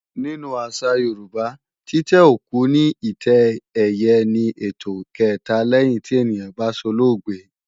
Nínú àṣà Yorùbá, títẹ́ òkú ní ìtẹ́ ẹ̀yẹ ni ètò kẹ̀ta lẹ́yìn tí ènìyàn bá solóògbé